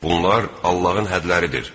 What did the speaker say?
Bunlar Allahın hədləridir.